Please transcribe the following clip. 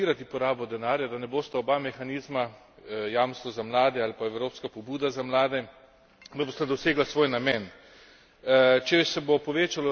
Toda Evropska komisija mora dosledno nadzirati porabo denarja, da bosta oba mehanizma, jamstvo za mlade ali pa evropska pobuda za mlade, dosegla svoj namen.